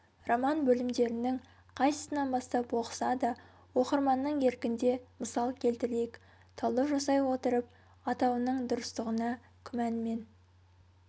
роман бөлімдерінің қайсысынан бастап оқыса да оқырманның еркінде мысал келтірейік талдау жасай отырып атауының дұрыстығына күмәнмен